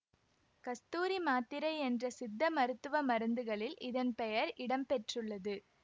கஸ்தூரி மாத்திரை என்ற சித்தமருத்துவ மருந்துகளில் இதன் பெயர் இடம் பெற்றுள்ளது